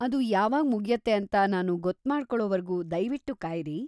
ಅದು ಯಾವಾಗ್ ಮುಗ್ಯತ್ತೆ ಅಂತ ನಾನು ಗೊತ್ಮಾಡ್ಕೊಳೊವರ್ಗೂ ದಯ್ವಿಟ್ಟು ಕಾಯ್ರಿ.